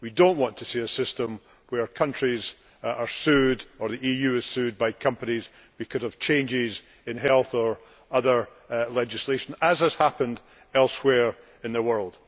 We do not want to see a system where countries are sued, or the EU is sued, by companies because of changes in health or other legislation, as has happened elsewhere in the world.